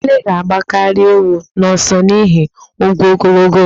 Ele ga-agbakarị ewu n'ọsọ n'ihi ụkwụ ogologo ya.